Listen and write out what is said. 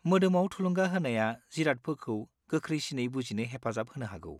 मोदोमाव थुलुंगा होनाया जिरादफोरखौ गोख्रैसिनै बुजिनो हेफाजाब होनो हागौ।